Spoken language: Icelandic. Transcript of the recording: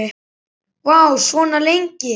Vá, svona lengi?